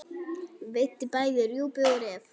Veiddi bæði rjúpu og ref.